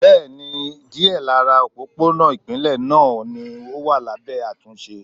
Bẹ́ẹ̀ni, díẹ̀ lára òpópónà ipinle náà ni ó wà lábẹ́ àtúnṣe.